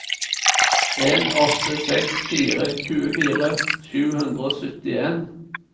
en åtte seks fire tjuefire sju hundre og syttien